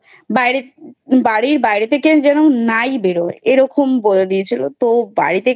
বাইরে বাড়ির বাইরে থেকে যেন নাই বেরোয় এরকম বলে দিয়েছিলো তো বাড়ি থেকে